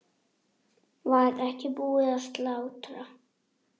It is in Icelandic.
Var ekki búið að slátra?